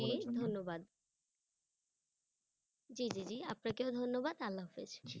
ধন্যবাদ জি জি জি আপনাকেও ধন্যবাদ আল্লাহ হাফিজ।